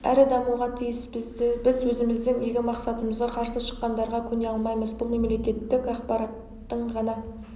әрі дамуға тиіс біз өзіміздің игі мақсатымызға қарсы шыққандарға көне алмаймыз бұл мемлекеттік аппараттың ғана